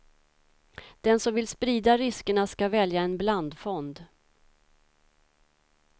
Den som vill sprida riskerna ska välja en blandfond.